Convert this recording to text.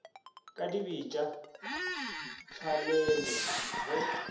ka dibetša di tswalelwe ge